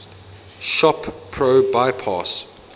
shop pro bypass